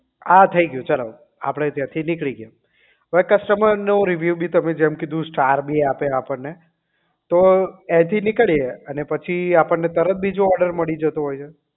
આ થઈ ગયું ચાલો આપણે ત્યાંથી નીકળી ગયા અવે customer નો review બી તમે જેમ કીધું સ્ટાર બી આપે આપણને તો અહીં થી નીકળીએ ને અને પછી આપણને તરત બીજો ઓર્ડર મલી જતો હોય છે